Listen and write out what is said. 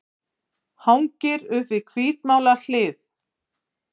Hangir upp við hvítmálað hlið.